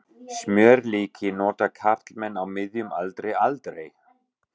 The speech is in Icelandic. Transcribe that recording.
Smjörlíki nota karlmenn á miðjum aldri aldrei.